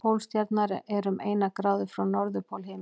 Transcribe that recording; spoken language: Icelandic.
Pólstjarnan er um eina gráðu frá norðurpól himins.